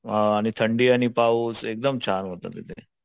अ आणि थंडी आणि पाऊस एकदम छान होत तिथे.